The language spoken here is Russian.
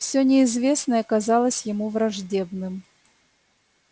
всё неизвестное казалось ему враждебным